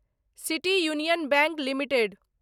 city Union Bank limited